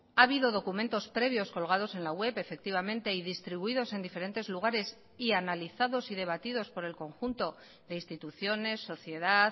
ha habido documentos previos colgados en la web efectivamente y distribuidos en diferentes lugares y analizados y debatidos por el conjunto de instituciones sociedad